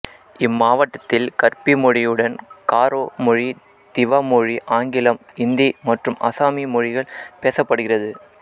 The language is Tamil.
இம்மாவட்டத்தில் கர்பி மொழியுடன் காரோ மொழி திவா மொழி ஆங்கிலம் இந்தி மற்றும் அசாமிய மொழிகள் பேசப்படுகிறது